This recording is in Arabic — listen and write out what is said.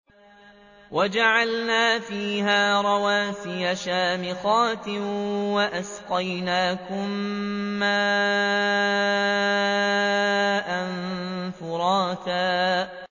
وَجَعَلْنَا فِيهَا رَوَاسِيَ شَامِخَاتٍ وَأَسْقَيْنَاكُم مَّاءً فُرَاتًا